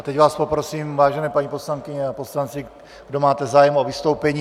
A teď vás poprosím, vážené paní poslankyně a poslanci, kdo máte zájem o vystoupení.